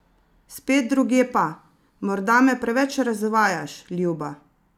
Spet drugje pa: "Morda me preveč razvajaš, ljuba.